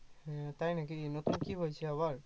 আহ তাই নাকি নতুন কি হয়েছে আবার